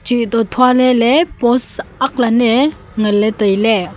cheh to thua leley post agg lan ae ngan ley tailey.